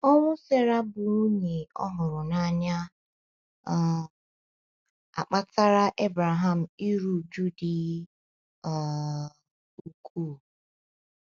Ọnwụ Sera bụ́ nwunye ọ hụrụ n’anya um akpatara Ebreham iru újú dị um ukwuu.